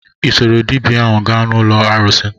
Ị soro dibia ahu gaa n'ụlọ arụsị?